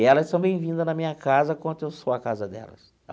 E elas são bem-vindas na minha casa quanto eu sou a casa delas.